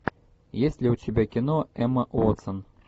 есть ли у тебя кино эмма уотсон